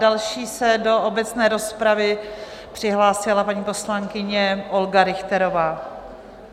Další se do obecné rozpravy přihlásila paní poslankyně Olga Richterová.